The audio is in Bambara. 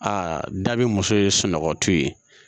Aa da bɛ muso ye sunɔgɔtɔ ye